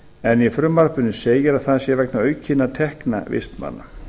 en í frumvarpinu segir að það sé vegna aukinna tekna vistmanna